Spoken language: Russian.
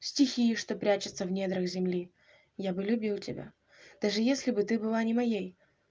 стихии что прячутся в недрах земли я бы любил тебя даже если бы ты была не моей